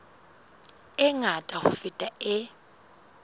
e ngata ho feta e